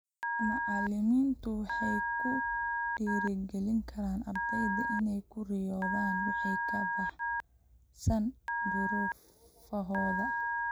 Macallimiintu waxay ku dhiirigelin karaan ardayda inay ku riyoodaan wixii ka baxsan duruufahooda.